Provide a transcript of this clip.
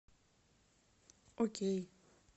окей